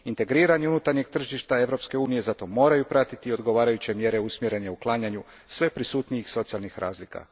Integriranje unutarnjeg tržišta Europske unije zato moraju pratiti odgovarajuće mjere usmjerene k uklanjanju sve prisutnijih socijalnih razlika.